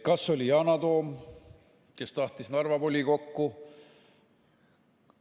Kas oli see Yana Toom, kes tahtis minna Narva volikokku?